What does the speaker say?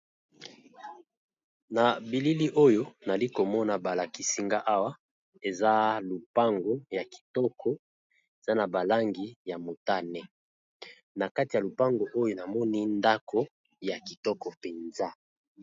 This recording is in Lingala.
Na bilili oyo nali komona balakisinga awa eza lupango ya kitoko eza na balangi ya motane, na kati ya lupango oyo namoni ndako ya kitoko mpenza.